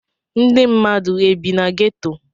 Ndi mmadu e bi na ghetto